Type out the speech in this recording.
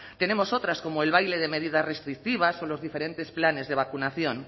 tenemos otras como el baile de medidas restrictivas o los diferentes planes de vacunación